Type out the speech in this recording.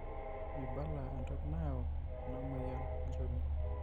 meibala entoki nayau enamoyian olnchoni.